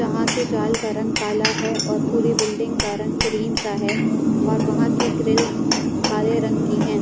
यहाँ के जाल का रंग काला है और पूरी बिल्डिंग का रंग क्रीम सा है और वहाँ की ग्रिल्स काले रंग की हैं।